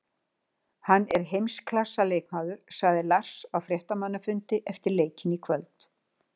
Hann er heimsklassa leikmaður, sagði Lars á fréttamannafundi eftir leikinn í kvöld.